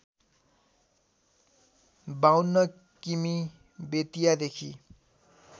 ५२ किमि बेतियादेखि